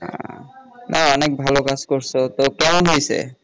হ্যাঁ অনেক ভালো কাজ করছো তো কেমন হইছে?